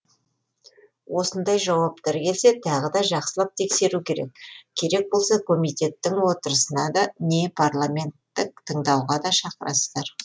осындай жауаптар келсе тағы да жақсылап тексеру керек керек болса комитеттің отырысына не парламенттік тыңдауға да шақырасыздар